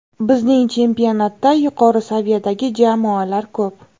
Bizning chempionatda yuqori saviyadagi jamoalar ko‘p.